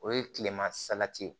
O ye tilema salati ye